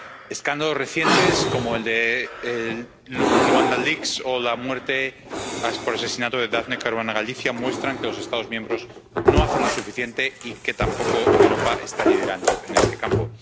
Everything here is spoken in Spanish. Escándalos recientes, como el de Luanda Leaks o la muerte por asesinato de Daphne Caruana Galizia, muestran que los Estados miembros no hacen lo suficiente y que tampoco Europa está liderando en este campo.